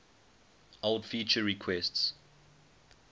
old feature requests